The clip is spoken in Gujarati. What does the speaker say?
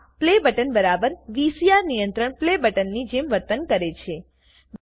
આ પ્લે બટન બરાબર વીસીઆર નિયંત્રણ પ્લે બટનની જેમ વર્તન કરે છે